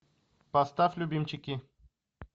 поставь любимчики